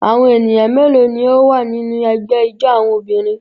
Awọn eniyan melo ni o wa ninu ẹgbẹ ijó awọn obirin?